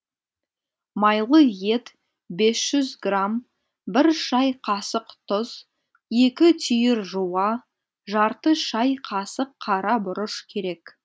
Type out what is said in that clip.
майлы ет бес жүз грамм бір шай қасық тұз екі түйір жуа жарты шай қасық қара бұрыш керек